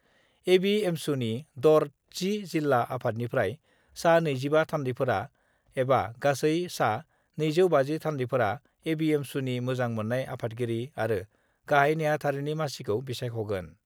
एबिएमसुनि दर 10 जिल्ला आफादनिफ्राय सा 25 थान्दैफोरा एबा गासै सा 250 थान्दैफोरा एबिएमसुनि मोजां मोन्नाय आफादगिरि आरो गाहाइ नेहाथारिनि मासिखौ बिसायख'गोन।